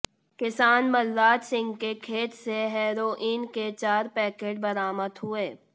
किसान बलराज सिंह के खेत से हेरोइन के चार पैकेट बरामद हुए